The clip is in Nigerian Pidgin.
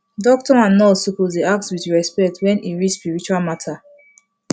doctor and nurse suppose dey ask with respect when e reach spiritual matter